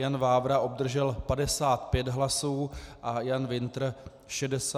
Jan Vávra obdržel 55 hlasů a Jan Wintr 64 hlasů.